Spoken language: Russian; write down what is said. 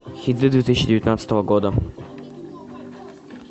хиты две тысячи девятнадцатого года